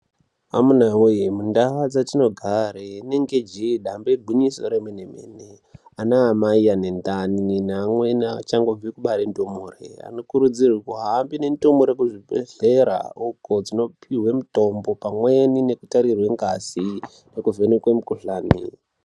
Amunawee mundau dzatinogare inenge jeee dambe igwinyiso remene-mene, anaamai ane ndani neamweni achangobve kubare ndumure anokurudzirwa kuhambe nendumure kuzvibhedhlera ukoo dzinopihwe mitombo pamweni nekutarirwe ngazi nekuvhenekwe mikhuhlani.